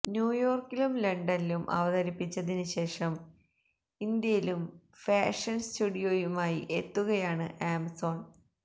ന്യൂയോര്ക്കിലും ലണ്ടനിലും അവതരിപ്പിച്ചതിന് ശേഷം ഇന്ത്യയിലും ഫാഷന് സ്റ്റുഡിയോയുമായി എത്തുകയാണ് ആമസോണ്